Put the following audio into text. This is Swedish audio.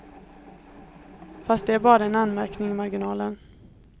Fast det är bara en anmärkning i marginalen.